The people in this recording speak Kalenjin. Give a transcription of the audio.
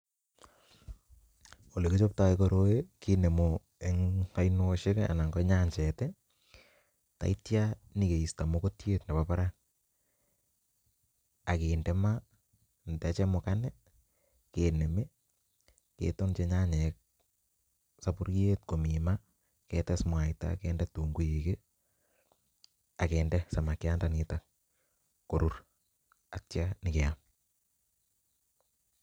Ole kichoptoo koroi kinemu en oinoshek kii anan ko nyanchet tii taityo nyokisto mokotyet nebo barak akinde ama ndachemukan kinemi ketupchi nyanyik kii soburyet komii maa ketes munaita kende tunguik kii ak kende samakyat ndoniton korur ak ityo nyokeam.